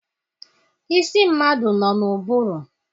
Isi mmadụ nọ n'ụbụrụ.